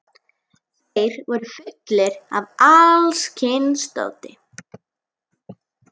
Þeir voru fullir af alls kyns dóti.